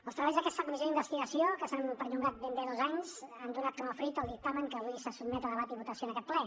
els treballs d’aquesta comissió d’investigació que s’han perllongat ben bé dos anys han donat com a fruit el dictamen que avui se sotmet a debat i votació en aquest ple